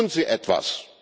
Tun Sie etwas!